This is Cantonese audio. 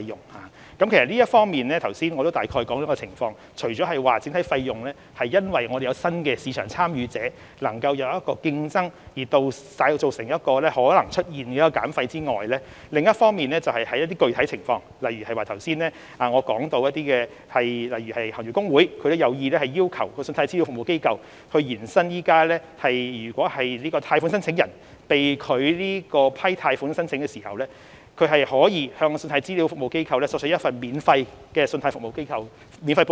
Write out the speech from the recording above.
我剛才已大致說明有關情況，除了整體費用會因有新的市場參與者加入競爭而可能降低外，就某些具體情況而言，例如我剛才也提到，行業公會有意要求信貸資料服務機構延伸現行安排，即貸款申請人在貸款申請被拒後，可向信貸資料服務機構索取一份免費的信貸報告。